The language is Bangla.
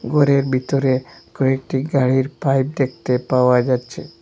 গরের বিতরে কয়েকটি গাড়ির পাইপ দেখতে পাওয়া যাচ্ছে।